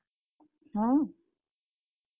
ହଁ।